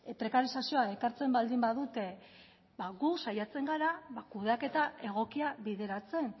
prekarizazioa ekartzen baldin badute gu saiatzen gara kudeaketa egokia bideratzen